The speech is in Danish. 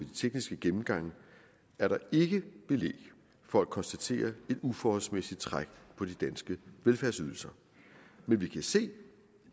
tekniske gennemgange er der ikke belæg for at konstatere et uforholdsmæssigt træk på de danske velfærdsydelser men vi kan se